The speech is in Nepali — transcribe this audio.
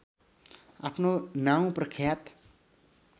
आफ्नो नाउँ प्रख्यात